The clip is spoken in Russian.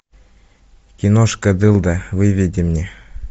киношка дылда выведи мне